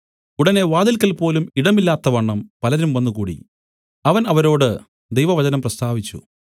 ഉടനെ വാതിൽക്കൽപോലും ഇടമില്ലാത്തവണ്ണം പലരും വന്നുകൂടി അവൻ അവരോട് ദൈവവചനം പ്രസ്താവിച്ചു